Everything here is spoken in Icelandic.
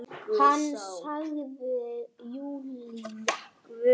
Hann sagði Júlía!